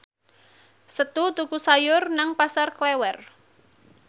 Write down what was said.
Setu tuku sayur nang Pasar Klewer